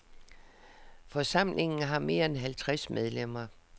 Forsamlingen har mere end halvtreds medlemmer.